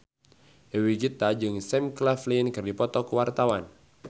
Dewi Gita jeung Sam Claflin keur dipoto ku wartawan